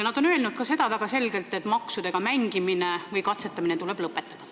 Nad on väga selgelt öelnud ka seda, et maksudega mängimine või katsetamine tuleb lõpetada.